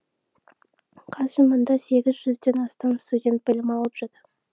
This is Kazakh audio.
қазір мұнда сегіз жүзден астам студент білім алып жүр